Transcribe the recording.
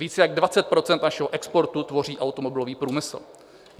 Víc jak 20 % našeho exportu tvoří automobilový průmysl.